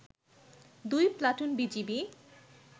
দুই platoon BGB